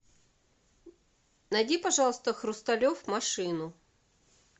найди пожалуйста хрусталев машину